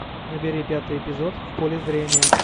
набери пятый эпизод в поле зрения